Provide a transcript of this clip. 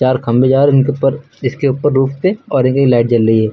तार खंबे जा रहे इनके ऊपर इसके ऊपर रूफ पे और एक ही लाइट जल रही है।